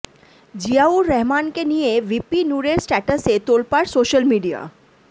জিয়াউর রহমানকে নিয়ে ভিপি নুরের স্ট্যাটাসে তোলপাড় সোশ্যাল মিডিয়া